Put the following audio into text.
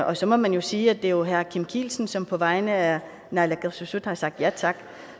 og så må man jo sige at det er herre kim kielsen som på vegne af naalakkersuisut har sagt ja tak